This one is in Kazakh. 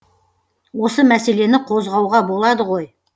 осы мәселені қозғауға болады ғой